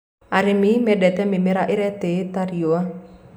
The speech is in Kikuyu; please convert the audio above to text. arĩmi mendete mĩmera iretiitia riũa